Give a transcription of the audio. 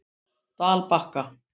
Dalbakka